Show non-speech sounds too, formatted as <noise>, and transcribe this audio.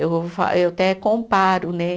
<unintelligible> Eu até comparo, né?